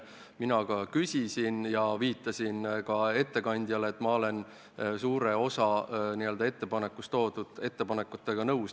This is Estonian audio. Ka mina küsisin ja ütlesin ettekandjale, et olen suure osa eelnõus toodud ettepanekutega nõus.